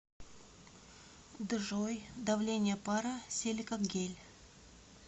джой давление пара силикагель